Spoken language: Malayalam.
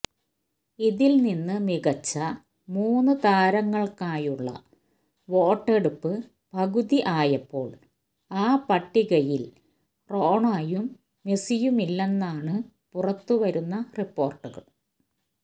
ഇതില് നിന്ന് മികച്ച മൂന്നു താരങ്ങള്ക്കായുള്ള വോട്ടെടുപ്പ് പകുതി ആയപ്പോള് ആ പട്ടികയില് റോണോയും മെസിയുമില്ലെന്നാണ് പുറത്തുവരുന്ന റിപ്പോര്ട്ടുകള്